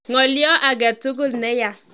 Ng'olio ake tugul ne ya."